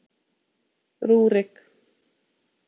Rúrik